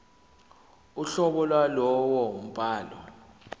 uhlobo lwalowo mbhalo